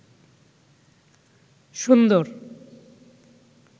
সুন্দর